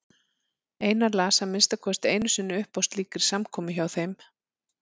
Einar las að minnsta kosti einu sinni upp á slíkri samkomu hjá þeim.